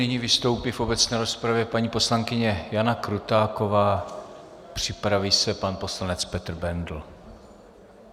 Nyní vystoupí v obecné rozpravě paní poslankyně Jana Krutáková, připraví se pan poslanec Petr Bendl.